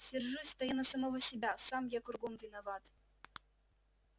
сержусь-то я на самого себя сам я кругом виноват